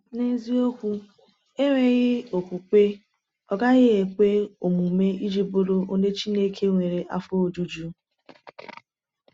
N’eziokwu, “enweghị okwukwe, ọ gaghị ekwe omume iji bụrụ onye Chineke nwere afọ ojuju.”